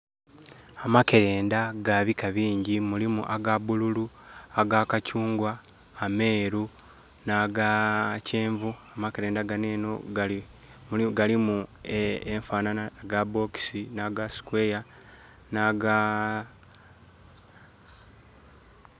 Amakerenda ga bika bingi. Mulimu aga bululu aga kakyungwa, ameeru na ga kyenvu. Amakerenda gano eno galimu enfanaanha ga box na ga square na ga....